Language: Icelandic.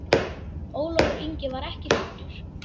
Ólafur Ingi var ekki fæddur.